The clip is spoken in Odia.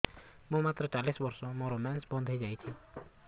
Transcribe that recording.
ମୁଁ ମାତ୍ର ଚାଳିଶ ବର୍ଷ ମୋର ମେନ୍ସ ବନ୍ଦ ହେଇଯାଇଛି